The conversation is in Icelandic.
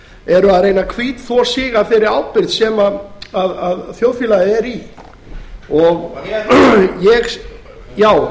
eru að reyna að hvítþvo sig af þeirri ábyrgð sem þjóðfélagið er í já